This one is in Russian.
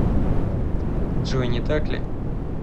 джой не так ли